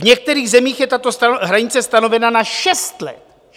V některých zemích je tato hranice stanovena na šest let.